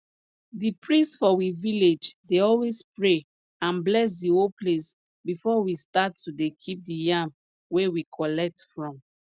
di priest for we village dey always pray and bless di whole place before we start to dey keep di yam wey we collect from